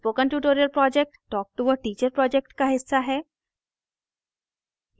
spoken tutorial project talktoa teacher project का हिस्सा है